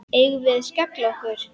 Eigum við að skella okkur?